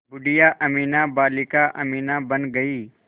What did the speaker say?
बूढ़िया अमीना बालिका अमीना बन गईं